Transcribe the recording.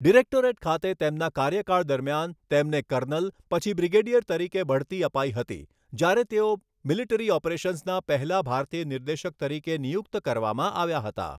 Directorate ખાતે તેમના કાર્યકાળ દરમિયાન, તેમને કર્નલ, પછી બ્રિગેડિયર રીકે બઢતી અપાઈ હતી, જ્યારે તેઓ મિલિટરી ઑપરેશન્સના પહેલા ભારતીય નિર્દેશક તરીકે નિયુક્ત કરવામાં આવ્યા હતા.